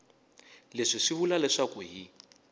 leswi swi vula leswaku hi